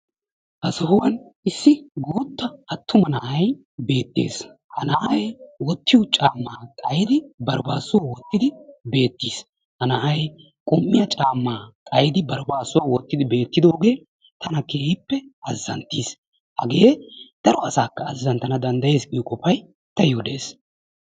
Ha sohuwan issi guutta attuma na'ay beettees. Ha na'ay wottiyo caammaa xayidi baribaassuwa wottidi beettiis. Ha na'ay qum''iya caammaa xayidi baribaassuwa wottidi beettidoogee tana keehippe azzanttiis. Hagee daro asaakka azzanttana danddayees giyo qofay taayyo dees.